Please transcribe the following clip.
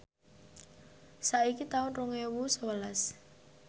saiki taun rong ewu sewelas